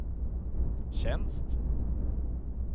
tjänst